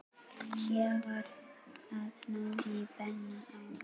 Ég varð að ná í Benna áður.